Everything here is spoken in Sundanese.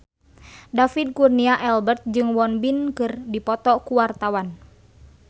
David Kurnia Albert jeung Won Bin keur dipoto ku wartawan